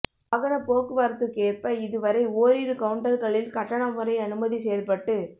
வாகன போக்குவரத்துக்கேற்ப இதுவரை ஓரிரு கவுன்டர்களில் கட்டண முறை அனுமதி செயல்பட்டு